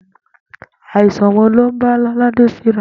Àìsàn wo̩ ló ń bá Ló̩ládè fíra?